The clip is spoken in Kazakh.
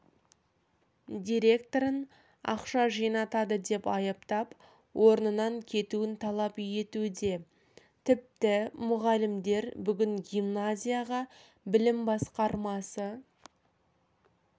директорын ақша жинатады деп айыптап орнынан кетуін талап етуде тіпті мұғалімдер бүгін гимназияға білім басқармасы